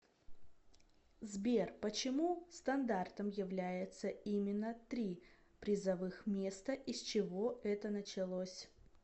сбер почему стандартом является именно три призовых места и с чего это началось